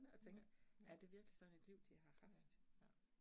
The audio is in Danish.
Ja, ja. Ja, ja